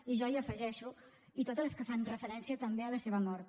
i jo hi afegeixo i totes les que fan referència també a la seva mort